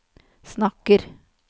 snakker